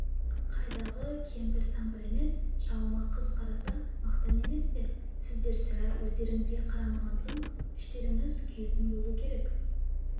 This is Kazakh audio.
қайдағы кемпір-сампыр емес шалыма қыз қараса мақтан емес пе сіздер сірә өздеріңізге қарамаған соң іштеріңіз күйетін болу керек